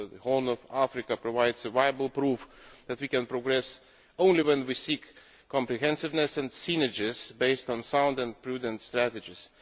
The Horn of Africa provides viable proof that we can progress only when we seek comprehensiveness and synergies based on sound and prudent strategies.